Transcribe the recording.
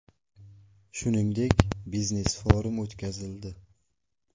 Shuningdek, biznes-forum o‘tkazildi.